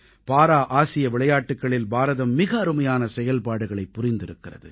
பாரா ஆசிய விளையாட்டுக்களில் பாரதம் மிக அருமையான செயல்பாடுகளைப் புரிந்திருக்கிறது